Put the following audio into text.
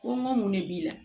Ko ŋo mun de b'i la